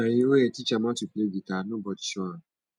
na him own head teach am how to play guitar nobody show am